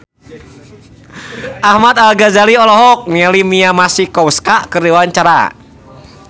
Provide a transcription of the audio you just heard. Ahmad Al-Ghazali olohok ningali Mia Masikowska keur diwawancara